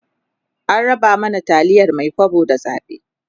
an raba mana taliyar Mai kwabo da zabe